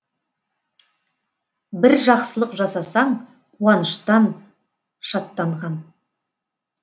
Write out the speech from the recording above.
бір жақсылық жасасаң қуаныштан шаттанған